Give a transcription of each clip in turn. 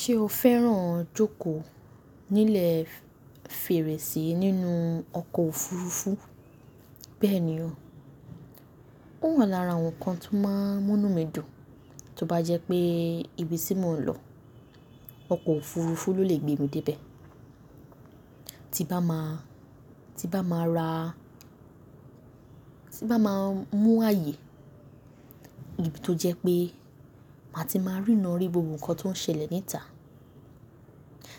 Ṣé o fẹ́ràn jókòó nílẹ̀ fèrèsé nínú ọkọ̀ òfurufú? Bẹ́ẹ̀ ni o. Ó hàn lára àwọn nǹkan tó máa ń mú mí dùn, tó bá jẹ́ pé ibi tí mò ń lọ, ọkọ̀ òfurufú ló lè gbé mi dé ibẹ̀. Tí bá máa, tí bá máa ra, tí bá máa mú ààyè, níbi tó jẹ́ pé màá ti máa rína rí gbogbo nǹkan tó ń ṣẹlẹ̀ níta.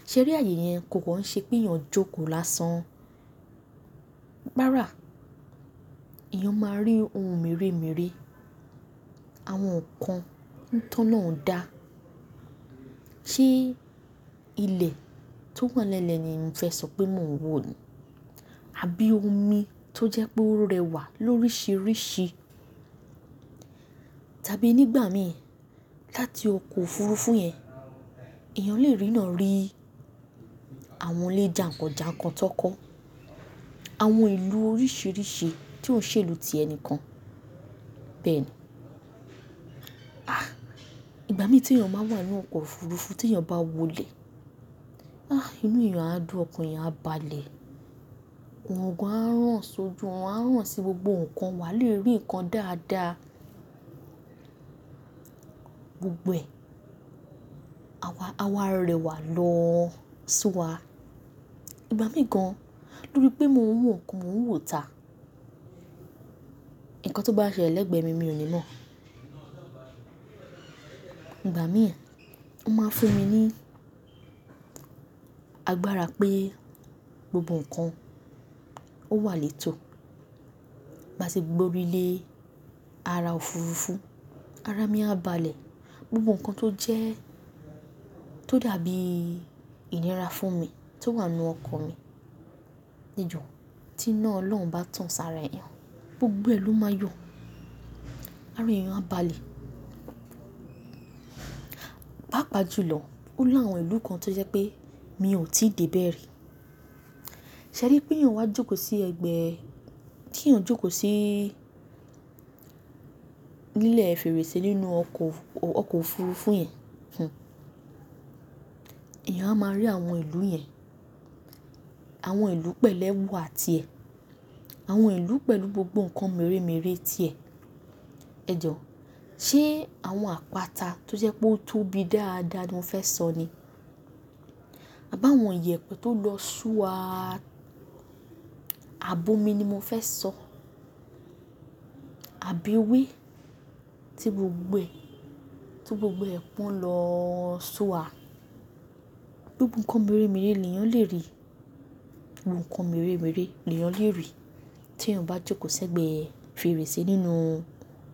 Ṣe ri ààyè yẹn kò kan ṣe pé eyàn jókòó lásán. Rárá, eyàn máa rí ohun mèremère, àwọn nǹkan tólọ́un dá. Ṣé ilẹ̀ tó hàn lẹ́lẹ̀ ni mo fẹ́ sọ pé mò ń wò ni? Àbí omi tó jẹ́ pé ó rẹwà lóríṣiríṣi? Tàbí nígbà mìí, láti ọkọ̀ òfurufú yẹn, eyàn lè rína rí àwọn ilé jàǹkàn jàǹkàn tan kọ́, àwọn ìlú oríṣiríṣi tí ó ń ṣèlú ti ẹni kan. Bẹ́ẹ̀ ni. Ah! Ìgbà mìí tí eyàn ba wole nínú ọkọ̀ òfurufú tí eyàn bá wọlé, ah inú eyàn á dùn, ọkàn eyàn á balẹ̀. Òòrun gan a rán ṣojú, òòrun a rán sí gbogbo nǹkan, wà á lè rí nǹkan dáadáa gbogbo. A wa, a wa rẹwà lọ sua. Ìgbà mìí gan, lórí pé mò ń wò nǹkan, mò ń wò ta, nǹkan tó bá ṣẹlẹ̀ legbẹ̀mi, mi ò ní mọ̀. Ìgbà mìíràn, ó máa ń fún mi ní agbára pé gbogbo nǹkan ó wà létò. Bá ṣe gbórí lé ara òfurufú, ara mi á balẹ̀. Gbogbo nǹkan tó jẹ́, tó dàbí ìnira fún mi tó wà nínú ọkọ̀ mi. Ẹ̀jo o, tí iná Ọlọ́run bá tán sára ẹ̀yàn, gbogbo ẹ́ lọ́ máa yọ̀. Àára eyàn á balẹ̀. Paapàjùlọ, ó l'àwọn ìlú kan tó jẹ́ pé mi ò tíì dé bẹ̀ rí. Ṣẹ́rí pé eyàn wá jókòó sí ẹ̀gbẹ́, tí eyàn jókòó sí nílẹ̀ fèrèsé nínú ọkọ̀, ọkọ̀ òfurufú yẹn, hm, eyàn á máa rí àwọn ìlú yẹn, àwọn ìlú pẹ̀l'ẹwa ti ẹ̀, àwọn ìlú pẹ̀lú gbogbo nǹkan mèremère tí ẹ. Ejọ, ṣe àwọn àpáta tó jẹ́ pé ó tóbi dáadáa ni mo fẹ́ sọ ni? À bá àwọn ìyẹ̀pẹ̀ tó lọ sọ́ wa, abòmi ni mo fẹ́ sọ. Àbí wí tí gbogbo, tí gbogbo ẹkún lọ sua. Gbogbo nǹkan mèremère l'eyàn lè rí. Gbogbo nǹkan mèremère ni ìyàn lè rí tí ìyàn bá jókòó sí ẹ̀gbẹ́ fèrèsé nínú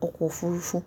ọkọ̀ òfurufú.